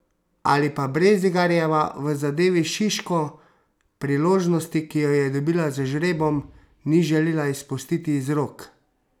Ali pa Brezigarjeva v zadevi Šiško priložnosti, ki jo je dobila z žrebom, ni želela izpustiti iz rok?